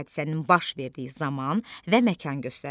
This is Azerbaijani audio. Hadisənin baş verdiyi zaman və məkan göstərilir.